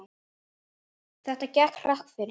Þetta gekk hratt fyrir sig.